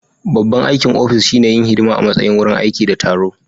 Babban aikin ofis shine yin hidima a matsayin wurin aiki da taro